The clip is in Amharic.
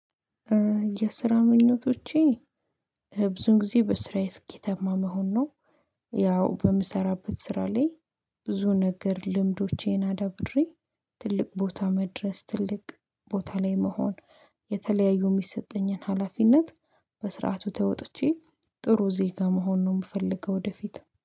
የስራ ምኞቶቼ ብዙ ጊዜ በስራዬ ስኬታማ መሆን ነው። ያው በምሰራበት ስራ ላይ ብዙ ነገር ልምዶቼን አዳብሬ ትልቅ ቦታ መድረስ ትልቅ ቦታ ላይ መሆን። የተለያዩ ሚሰጠኝን ሀላፊነት በስርዓቱ ተወጥቼ ጥሩ ዜጋ መሆን ነው የምፈልገው ወደፊት